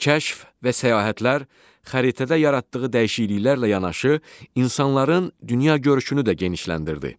Kəşf və səyahətlər xəritədə yaratdığı dəyişikliklərlə yanaşı, insanların dünya görüşünü də genişləndirdi.